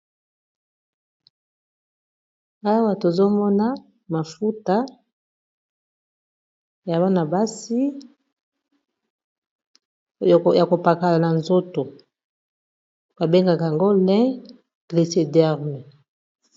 Awa tozomona mafuta ya bana basi ya kopakala na nzoto babengaka yango lin glicederme.